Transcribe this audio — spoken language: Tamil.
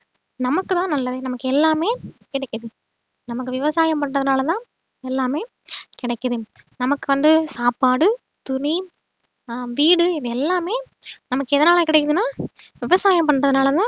நமக்குதான் நல்லது நமக்கு எல்லாமே கிடைக்குது நமக்கு விவசாயம் பண்றதுனாலதான் எல்லாமே கிடைக்குது நமக்கு வந்து சாப்பாடு துணி ஆஹ் வீடு இது எல்லாமே நமக்கு எதனால கிடைக்குதுன்னா விவசாயம் பண்றதுனாலதான்